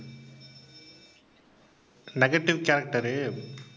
negative character உ